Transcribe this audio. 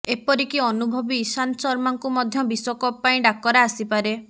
ଏପରିକି ଅନୁଭବୀ ଇଶାନ୍ତ ଶର୍ମାଙ୍କୁ ମଧ୍ୟ ବିଶ୍ୱକପ ପାଇଁ ଡାକରା ଆସିପାରେ